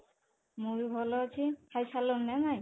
ମୁଁ ବି ଭଲ ଅଛି ଖାଇସାରିଲଣି ନା ନାହିଁ?